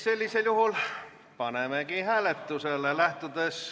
Sellisel juhul panemegi eelnõu hääletusele.